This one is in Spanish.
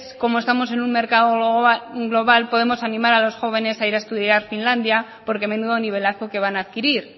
como estamos en un mercado global podemos animar a los jóvenes a ir a estudiar a finlandia porque menudo nivelazo que van a adquirir